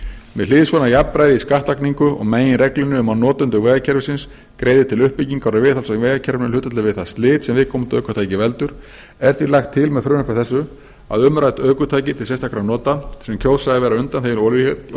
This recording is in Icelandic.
með hliðsjón af jafnræði í skattlagningu og meginreglunni um að notendur vegakerfisins greiði til uppbyggingar og viðhalds á vegakerfinu í hlutfalli við það slit sem viðkomandi ökutæki veldur er því lagt til með frumvarpi þessu að umrædd ökutæki til sérstakra nota sem kjósa að vera undanþegin